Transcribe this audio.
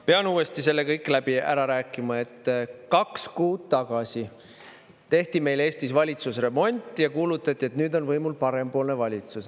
Pean uuesti selle kõik ära rääkima, et kaks kuud tagasi tehti meil Eestis valitsusremont ja kuulutati, et nüüd on võimul parempoolne valitsus.